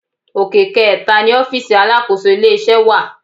Òkè kẹẹ̀ta ni ọfísì alákòóso ilé-iṣẹ́ wà